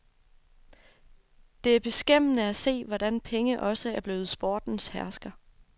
Det er beskæmmende at se, hvordan penge også er blevet sportens hersker.